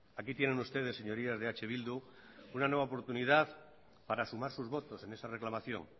aquí tienen ustedes señorías de eh bildu una nueva oportunidad para sumar sus votos en esa reclamación